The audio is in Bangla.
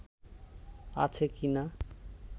আছে কি না